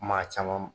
Maa caman